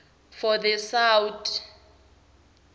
for the south